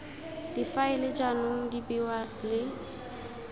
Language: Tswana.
difaele jaanong di bewa le